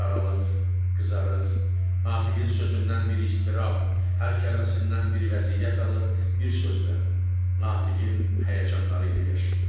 Saralır, qızarır, Natiqin sözündən bir iztirab, hər kəlməsindən bir vəziyyət alır, bir sözlə, Natiqin həyəcanları ilə yaşayırdı.